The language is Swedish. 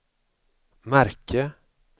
märke